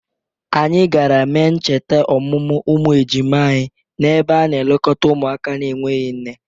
Anyị gara mee ncheta ọmụmụ ụmụ ejima anyị n'ebe a na-elekọta ụmụaka na-enweghi nne.